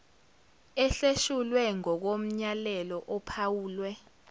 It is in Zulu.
ehleshulwe ngokomyalelo ophawulwe